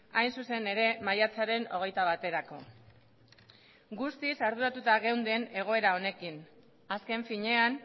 hain zuzen ere maiatzaren hogeita baterako guztiz arduratuta geunden egoera honekin azken finean